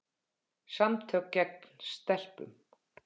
Samtök gegn stelpum.